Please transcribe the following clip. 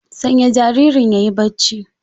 Sanya jaririn yayi barci